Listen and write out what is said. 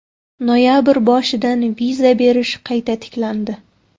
Noyabr boshidan viza berish qayta tiklandi.